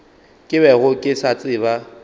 ke bego ke se tseba